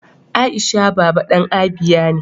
Aisha baba dan Abia ne.